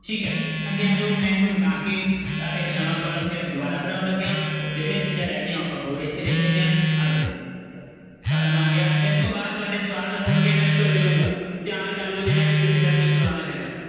ਠੀਕ ਹੈ ਅੱਗੇ ਆ ਜਾਓ ਮੈਂ ਇਹਨੂੰ ਮਿਟਾ ਕੇ ਅਹ ਇੱਕ ਨਵਾਂ column ਫਿਰ ਦੁਬਾਰਾ ਬਣਾਉਣ ਲੱਗਿਆ ਜਿਹੜੀਆਂ ਚੀਜ਼ਾਂ ਉਹ ਆਪਾਂ ਹੋਰ ਇੱਥੇ ਲਿਖ ਲੈਂਦੇ ਹਾਂ ਆ ਜਾਓ column ਆ ਗਿਆ ਇਸ ਤੋਂ ਬਾਅਦ ਤੁਹਾਡੇ ਸਵਾਲ ਹੋਣਗੇ ਮੈਂ ਉੱਤਰ ਦਿਆਂਗਾ ਤਿਆਰ ਕਰ ਲਓ ਜਿਹੜਾ ਵੀ ਕਿਸੇ ਦਾ ਕੋਈ ਸਵਾਲ ਹੈਗਾ।